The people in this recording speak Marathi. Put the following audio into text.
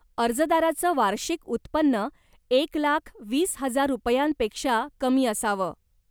अर्जदाराचं वार्षिक उत्पन्न एक लाख वीस हजार रुपयांपेक्षा कमी असावं.